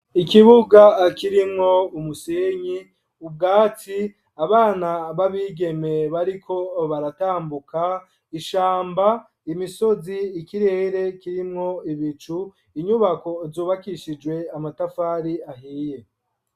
Ikibuga kirimwo umusenyi ubwatsi abana b'abigeme bariko baratambuka, ishamba imisozi ikirere kirimwo ibicu inyubako zubakishijwe amatafari ahiye.